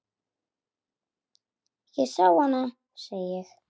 Ég sá hana, segi ég.